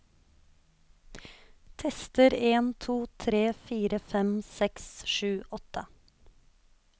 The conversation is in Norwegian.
Tester en to tre fire fem seks sju åtte